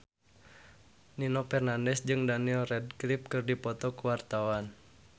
Nino Fernandez jeung Daniel Radcliffe keur dipoto ku wartawan